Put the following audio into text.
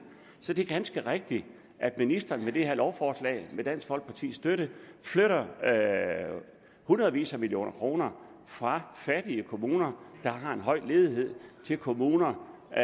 så det er ganske rigtigt at ministeren med det her lovforslag med dansk folkepartis støtte flytter hundredvis af millioner kroner fra fattige kommuner der har en høj ledighed til kommuner der